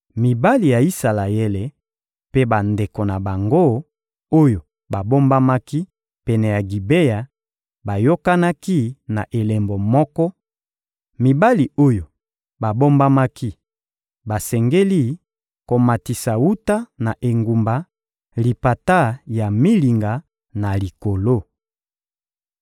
Mibali ya Isalaele mpe bandeko na bango, oyo babombamaki pene ya Gibea, bayokanaki na elembo moko: mibali oyo babombamaki basengeli komatisa wuta na engumba lipata ya milinga na likolo.